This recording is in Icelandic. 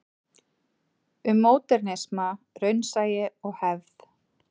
Um módernisma, raunsæi og hefð.